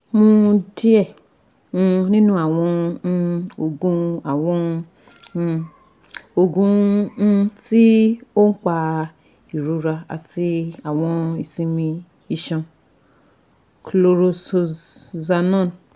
Mu diẹ um ninu awọn um oogun awọn um oogun um ti oun pa irora ati awọn isinmi iṣan (chlorzoxanone)